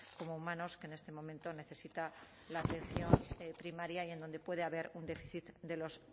como humanos que en este momento necesita la atención primaria y en donde puede haber un déficit de los